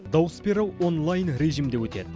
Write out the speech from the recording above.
дауыс беру онлайн режимде өтеді